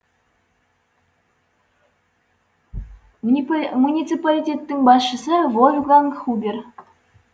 муниципалитеттің басшысы вольфганг хубер